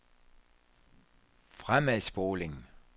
fremadspoling